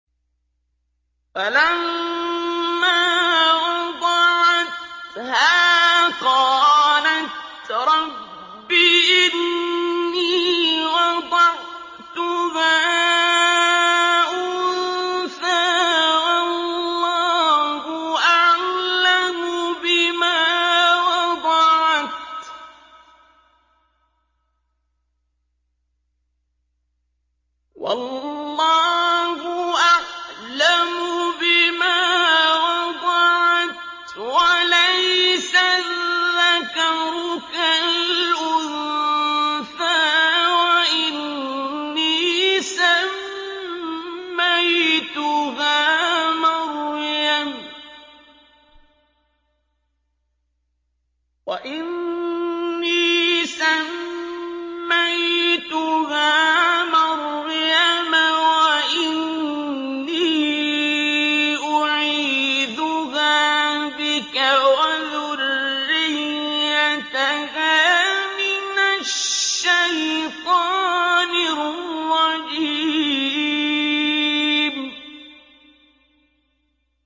فَلَمَّا وَضَعَتْهَا قَالَتْ رَبِّ إِنِّي وَضَعْتُهَا أُنثَىٰ وَاللَّهُ أَعْلَمُ بِمَا وَضَعَتْ وَلَيْسَ الذَّكَرُ كَالْأُنثَىٰ ۖ وَإِنِّي سَمَّيْتُهَا مَرْيَمَ وَإِنِّي أُعِيذُهَا بِكَ وَذُرِّيَّتَهَا مِنَ الشَّيْطَانِ الرَّجِيمِ